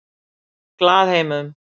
Glaðheimum